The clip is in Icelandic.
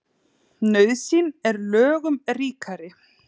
Nauðsyn er lögum ríkari.